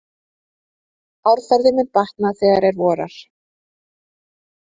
Árferði mun batna þegar er vorar.